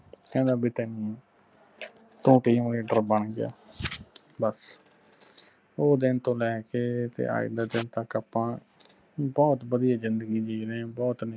ਕਹਿੰਦਾ ਤੂੰ ਬਣ ਗਿਆ ਬਸ ਉਹ ਦਿਨ ਤੋਂ ਲੈ ਕੇ ਤੇ ਅੱਜ ਦੇ ਦਿਨ ਤਕ ਆਪਾ ਬਹੁੱਤ ਵਧਿਆ ਜਿੰਦਗੀ ਜੀ ਰਹੇ ਆ ਬਹੁੱਤ